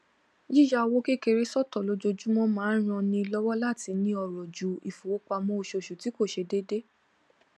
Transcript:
yíya owó kékeré sọtọ lójoojúmọ máa ń ran ni lọwọ láti ni ọrọ ju ifowópamọ oṣooṣù tí kò ṣe déédéé